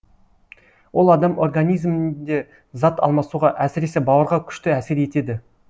ол адам организмінде зат алмасуға әсіресе бауырға күшті әсер етеді